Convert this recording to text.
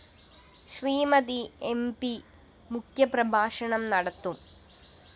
Shrimati M P മുഖ്യപ്രഭാഷണം നടത്തും